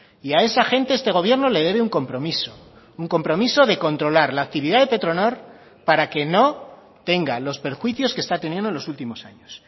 y a esa gente este gobierno le debe un compromiso un compromiso de controlar la actividad de petronor para que no tenga los perjuicios que está teniendo en los últimos años